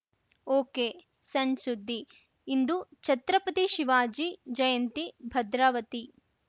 ಒಕೆಸಣ್‌ಸುದ್ದಿ ಇಂದು ಛತ್ರಪತಿ ಶಿವಾಜಿ ಜಯಂತಿ ಭದ್ರಾವತಿ